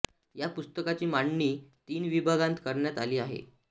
या पुस्तकाची मांडणी तीन विभागांत करण्यात आली आहे